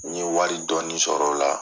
N ye wari dɔɔni sɔrɔ o la.